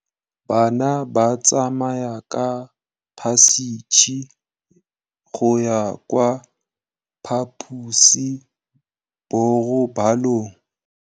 Bana ba tsamaya ka phašitshe go ya kwa phaposiborobalong.